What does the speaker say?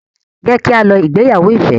Jẹ ki a lọ ìgbéyàwó Ife.